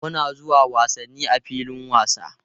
Muna zuwa wasanni a filin wasa.